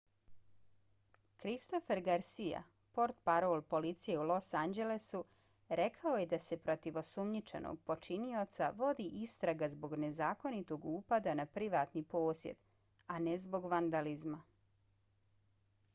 christopher garcia portparol policije u los anđelesu rekao je da se protiv osumnjičenog počinioca vodi istraga zbog nezakonitog upada na privatni posjed a ne zbog vandalizma